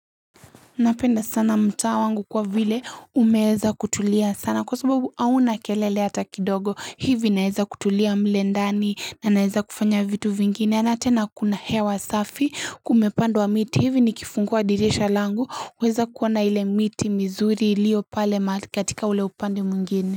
Napenda sana mtaa wangu kwa vile umeweza kutulia sana kwa sababu hauna kelele hata kidogo hivi naeza kutulia mle ndani na naeza kufanya vitu vingine na tena kuna hewa safi kumepandwa miti hivi nikifungua dirisha langu uweza kuona ile miti mizuri ilio pale katika ule upande mwingine.